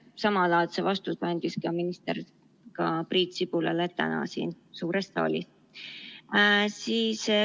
Samalaadse vastuse andis minister ka Priit Sibulale täna siin suures saalis.